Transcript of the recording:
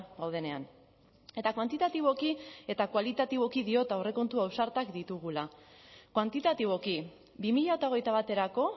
gaudenean eta kuantitatiboki eta kualitatiboki diot aurrekontu ausartak ditugula kuantitatiboki bi mila hogeita baterako